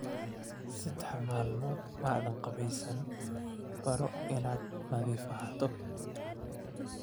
Saddex maalmood ma aadan qubaysan, baro inaad nadiif ahaato